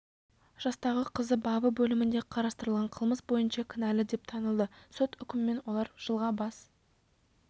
жастағы қызы бабы бөлімінде қарастырылған қылмыс бойынша кінәлі деп танылды сот үкімімен олар жылға бас